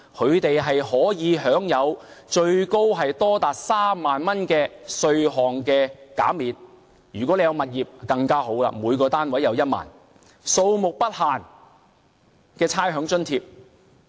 他們可享有最高3萬元的稅項減免；如果有物業便更好，每個單位可獲1萬元的差餉減免，並且數目不限。